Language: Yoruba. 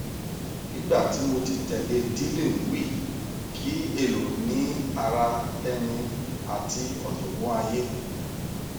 nigba ti mo ti tẹlẹ dealing wih ki elo ni ara ẹni ati ọjọgbọn aye